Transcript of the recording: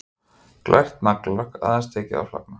Glært naglalakk, aðeins tekið að flagna.